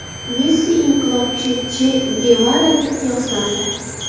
Messi inqilobchi Che Gevaraga qiyoslandi .